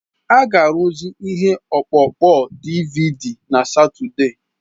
A ga-arụzi ihe ọkpụkpọ DiiViiDi na Satọde.